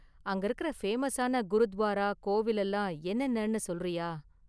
அங்க இருக்குற ஃபேமஸான குருத்வாரா, கோவில் எல்லாம் என்னென்னனு சொல்றியா?